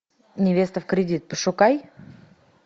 невеста в кредит пошукай